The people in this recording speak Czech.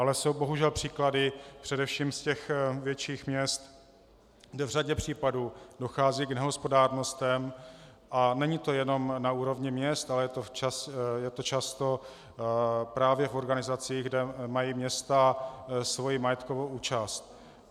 Ale jsou bohužel příklady, především z těch větších měst, kde v řadě případů dochází k nehospodárnostem, a není to jenom na úrovni měst, ale je to často právě v organizaci, kde mají města svoji majetkovou účast.